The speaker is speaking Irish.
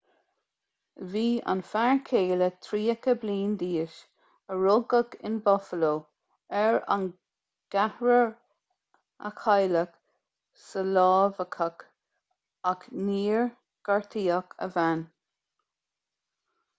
bhí an fear céile tríocha bliain d'aois a rugadh in buffalo ar an gceathrar a cailleadh sa lámhachadh ach níor gortaíodh a bhean